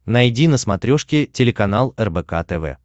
найди на смотрешке телеканал рбк тв